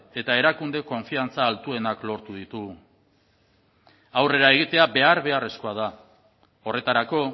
eta erakunde konfiantza altuenak lortu ditu aurrera egitea behar beharrezkoa da horretarako